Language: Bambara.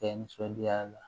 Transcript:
Kɛ nisɔndiya la